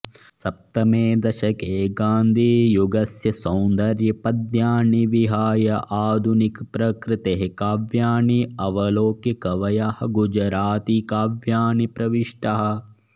सप्तमे दशके गान्धियुगस्य सौन्दर्यपद्यानि विहाय आधुनिकप्रकृतेः काव्यानि अवलोक्य कवयः गुजरातीकाव्यानि प्रविष्टाः